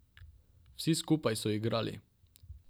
Vsi skupaj so igrali.